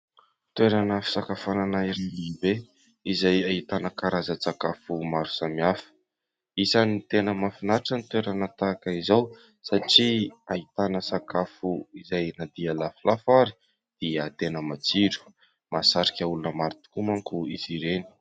Toerana fisakafoanana iray lehibe izay ahitana karazan-tsakafo maro samihafa. Isany tena mahafinatra ny toerana tahaka izao satria ahitana sakafo izay na dia lafolafo ary dia tena matsiro, mahasarika olona maro tokoa manko izy ireny.